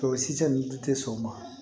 Tɔ sitɛ ni te sɔn o ma